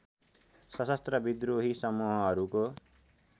सशस्त्र विद्रोही समूहहरूको